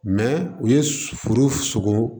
u ye foro sogo